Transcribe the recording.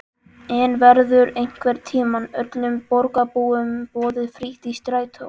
En verður einhvern tímann öllum borgarbúum boðið frítt í strætó?